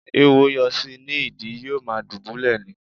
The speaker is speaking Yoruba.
Ééwo yọ sí i ní ìdí, yóò ma dùbúlẹ̀ ni.